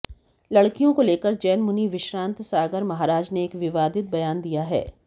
लड़कियों को लेकर जैन मुनि विश्रांत सागर महाराज ने एक विवादित बयान दिया है